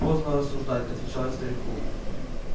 поздно рассуждать отвечал я старику